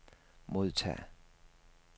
modtag